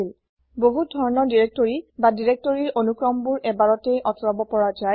বহুত ধৰণৰ দিৰেক্তৰি বা দিৰেক্তৰিৰ প্ৰঅনুক্ৰমবোৰ এবাৰতেই আতৰাব পৰা যায়